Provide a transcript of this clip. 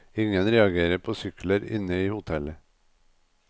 Ingen reagerer på sykler inne i hotellet.